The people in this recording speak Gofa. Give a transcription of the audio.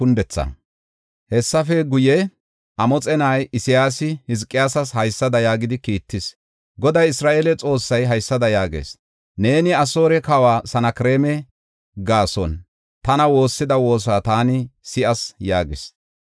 Hessafe guye, Amoxe na7ay Isayaasi Hizqiyaasas haysada yaagidi kiittis: Goday, Isra7eele Xoossay haysada yaagees: “Neeni Asoore kawa Sanakreema gaason tana woossida woosa taani si7as” yaagees.